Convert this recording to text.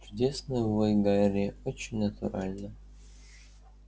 чудесный вой гарри очень натурально